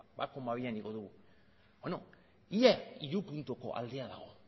bat koma bian igo dugu ia hiru puntuko aldea dago